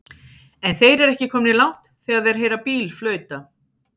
En þeir eru ekki komnir langt þegar þeir heyra bíl flauta.